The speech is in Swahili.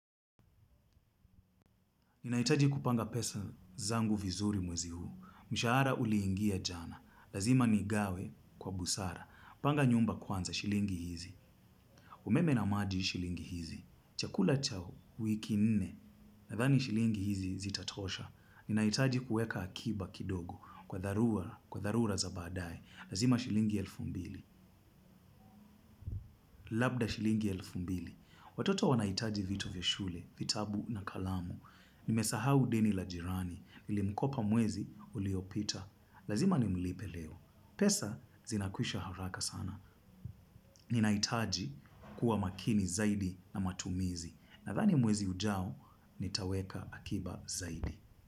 Ninhaitaji kupanga pesa zangu vizuri mwezi huu. Mshahara uliingia jana. Lazima nigawe kwa busara. Panga nyumba kwanza shilingi hizi. Umeme na maji shilingi hizi. Chakula cha wiki nne. Nadhani shilingi hizi zitatosha. Ninahitaji kuweka akiba kidogo. Kwa dharura, kwa dharura za baadaye. Lazima shilingi elfu mbili. Labda shilingi elfu mbili. Watoto wanahitaji vitu vya shule, vitabu na kalamu. Nimesahau deni la jirani. Nilimkopa mwezi uliopita. Lazima nimlipe leo. Pesa zinakwisha haraka sana. Ninahitaji kuwa makini zaidi na matumizi. Nadhani mwezi ujao nitaweka akiba zaidi.